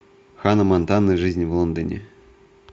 ханна монтана жизнь в лондоне